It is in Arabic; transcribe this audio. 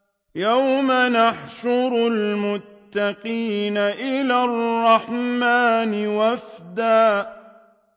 يَوْمَ نَحْشُرُ الْمُتَّقِينَ إِلَى الرَّحْمَٰنِ وَفْدًا